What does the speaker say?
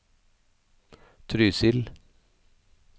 Trysil